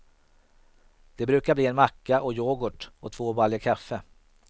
Det brukar bli en macka och youghurt och två baljor kaffe.